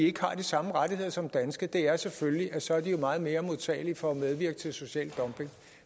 ikke har de samme rettigheder som danske det er selvfølgelig at så er de meget mere modtagelige for at medvirke til social dumping